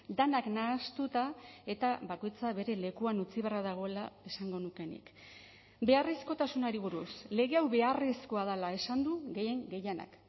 denak nahastuta eta bakoitza bere lekuan utzi beharra dagoela esango nuke nik beharrezkotasunari buruz lege hau beharrezkoa dela esan du gehien gehienak